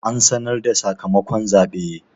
An sanar da sakamakon zaɓe?